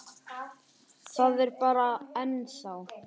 Það er bara. ennþá.